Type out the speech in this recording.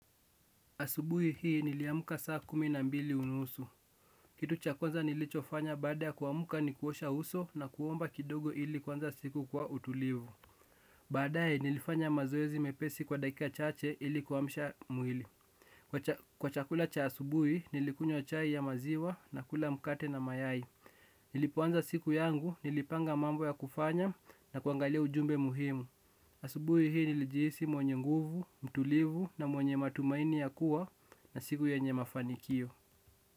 Asubuhi hii niliamka saa kumi na mbili unusu. Kitu cha kwanza nilichofanya baada ya kuamka ni kuosha uso na kuomba kidogo ili kwanza siku kwa utulivu. Baadae nilifanya mazoezi mepesi kwa dakika chache ili kuwamsha mwili. Kwa chakula cha asubuhi nilikunywa chai ya maziwa na kula mkate na mayai. Nilipoanza siku yangu nilipanga mambo ya kufanya na kuangalia ujumbe muhimu. Asubui hii nilijisi mwenye nguvu, mtulivu na mwenye matumaini ya kuwa na siku yenye mafanikio.